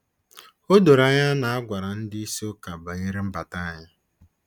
O doro anya na a gwara ndị isi Ụka banyere mbata anyị.